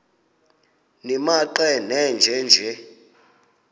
nimaqe nenje nje